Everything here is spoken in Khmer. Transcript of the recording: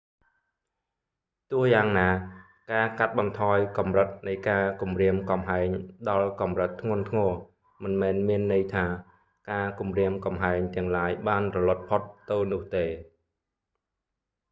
ទោះយ៉ាងណា ការកាត់បន្ថយកម្រិតនៃការគំរាមកំហែងដល់កម្រិតធ្ងន់ធ្ងរ មិនមែនមានន័យថា ការគម្រាមកំហែងទាំងឡាយបានរលត់ផុតទៅនោះទេ